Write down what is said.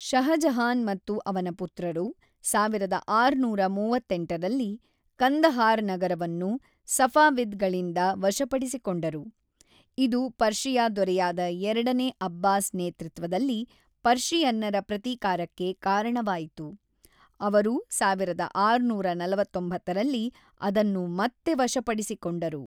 ಷಹಜಹಾನ್ ಮತ್ತು ಅವನ ಪುತ್ರರು ಸಾವಿರದ ಆರುನೂರ ಮೂವತ್ತೆಂಟರಲ್ಲಿ ಕಂದಹಾರ್ ನಗರವನ್ನು ಸಫಾವಿದ್ ಗಳಿಂದ ವಶಪಡಿಸಿಕೊಂಡರು, ಇದು ಪರ್ಷಿಯಾ ದೊರೆಯಾದ ಎರಡನೇ ಅಬ್ಬಾಸ್ ನೇತೃತ್ವದಲ್ಲಿ ಪರ್ಷಿಯನ್ನರ ಪ್ರತೀಕಾರಕ್ಕೆ ಕಾರಣವಾಯಿತು, ಅವರು ಸಾವಿರದ ಆರುನೂರ ನಲವತ್ತೊಂಬತ್ತರಲ್ಲಿ ಅದನ್ನು ಮತ್ತೆ ವಶಪಡಿಸಿಕೊಂಡರು.